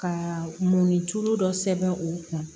Ka mun ni tulu dɔ sɛbɛn u kun